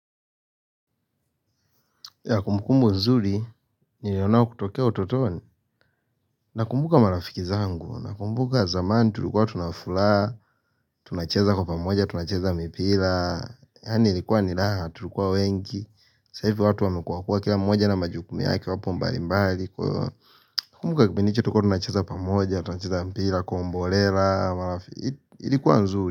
Kumbukumbu nzuri, nilionao kutokea utotoni, nakumbuka marafiki zangu, na kumbuka zamani tulikuwa tuna furaha, tunacheza kwa pamoja, tunacheza mipira, yaani ilikuwa ni raha, tulikuwa wengi, sasa hivi watu wamekuakua kila mmoja na majukumu yake wapo mbali mbali,, na kumbuka kipindi chetu tulikua tunacheza pamoja, tunacheza mpira, kwa mbolela, marafiki, ilikuwa nzuri.